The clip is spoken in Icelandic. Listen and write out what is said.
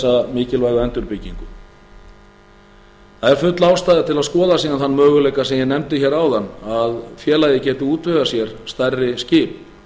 þessa mikilvægu endurbyggingu það er full ástæða til að skoða síðan þann möguleika sem ég nefndi hérna áðan að félagið geti útvegað sér stærri skip